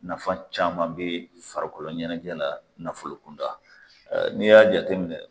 Nafan caman bɛ farikolo ɲɛnajɛ la nafolo kunda n'i y'a jate minɛ